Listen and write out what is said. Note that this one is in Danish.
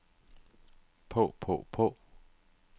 på på på